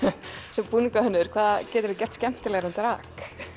sem búningahönnuður hvað geturðu gert skemmtilegra en drag